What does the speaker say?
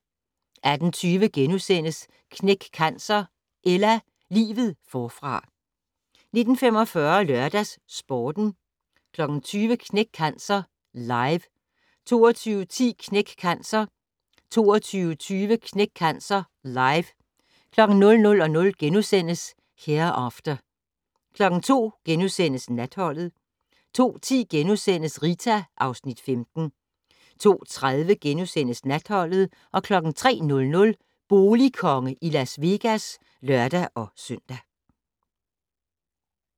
18:20: Knæk Cancer: Ella - livet forfra * 19:45: LørdagsSporten 20:00: Knæk Cancer Live 22:10: Knæk Cancer 22:20: Knæk Cancer Live 00:00: Hereafter * 02:00: Natholdet * 02:10: Rita (Afs. 15)* 02:30: Natholdet * 03:00: Boligkonge i Las Vegas (lør-søn)